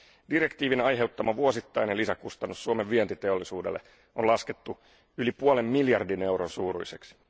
Direktiivin aiheuttama vuosittainen lisäkustannus Suomen vientiteollisuudelle on laskettu yli puolen miljardin euron suuruiseksi.